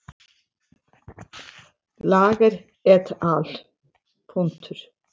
Þegar et al.